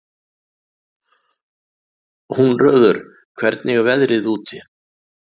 Húnröður, hvernig er veðrið úti?